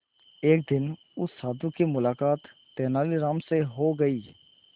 एक दिन उस साधु की मुलाकात तेनालीराम से हो गई